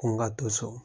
Ko n ka to so